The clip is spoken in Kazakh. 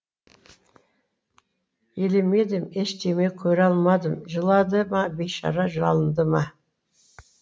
елемедім ештеме көре алмадым жылады ма бейшара жалынды ма